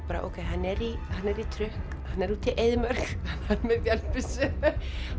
er í trukk hann er úti í eyðimörk hann er með vélbyssu